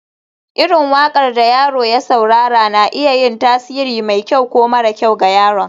irin waƙar da yaro ya saurara na iya yin tasiri mai kyau ko mara kyau ga yaron